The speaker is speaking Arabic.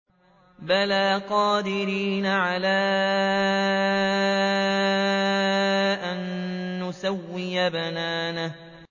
بَلَىٰ قَادِرِينَ عَلَىٰ أَن نُّسَوِّيَ بَنَانَهُ